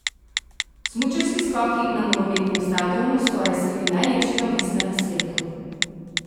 Smučarski skoki na nogometnem stadionu skoraj sredi najlepšega mesta na svetu.